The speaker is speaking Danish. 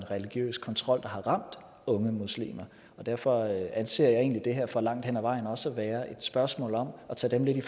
religiøs kontrol der særlig har ramt unge muslimer og derfor anser jeg egentlig det her for langt hen ad vejen også er et spørgsmål om at tage dem lidt i